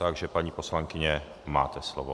Takže paní poslankyně, máte slovo.